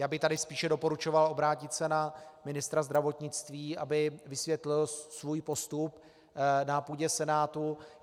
Já bych tady spíše doporučoval obrátit se na ministra zdravotnictví, aby vysvětlil svůj postup na půdě Senátu.